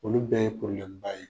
Olu bɛ ye bonyaba ye .